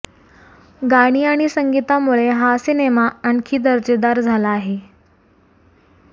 गाणी आणि संगीतामुळे हा सिनेमा आणखी दर्जेदार झाला आहे